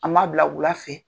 A ma bila wula fɛ